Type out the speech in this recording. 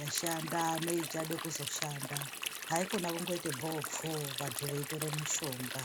yashabda neichade kuzoshanda haikona kundoite bvoo pfoo vantu veitore mushonga.